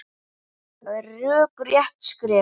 Það er rökrétt skref.